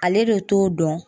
Ale de t'o dɔn.